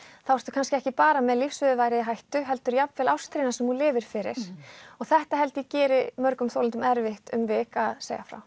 þá ertu kannski ekki bara með lífsviðurværið í hættu heldur jafnvel ástríðuna sem þú lifir fyrir og þetta held ég gerir mörgum þolendum erfitt um vik að segja frá